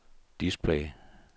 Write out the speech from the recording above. display